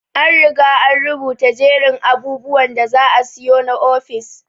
An Riga an rubuta jerin abubwan da za asiyo na ofis.